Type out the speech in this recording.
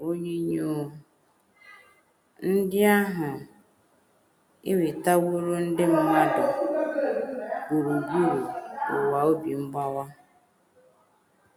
Onyinyo ndị ahụ ewetaworo ndị mmadụ gburugburu ụwa obi mgbawa.